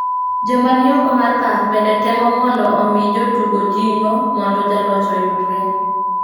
Joma ni oko mar pap bende temo mondo omi jotugo jingo mondo jaloch oyudre